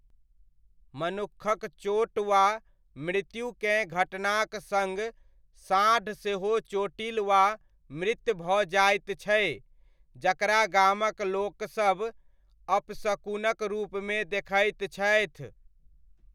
मनुक्खक चोट वा मृत्युकेँ घटनाक सङ्ग साँढ़ सेहो चोटिल वा मृत भऽ जाइत छै, जकरा गामक लोकसभ अपशकुनक रुपमे देखैत छथि।